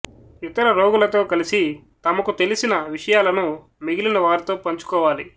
ఇతర రోగులతో కలిసి తమకు తెలిసిన విషయాలను మిగిలిన వారితో పంచుకోవాలి